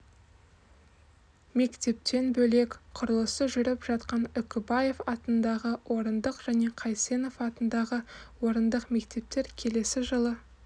мектептен бөлек құрылысы жүріп жатқан үкібаев атындағы орындық және қайсенов атындағы орындық мектептер келесі жылы